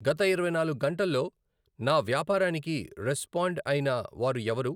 గత ఇరవై నాలుగు గంటల్లో నా వ్యాపారానికి రెస్పాండ్ అయిన వారు ఎవరు?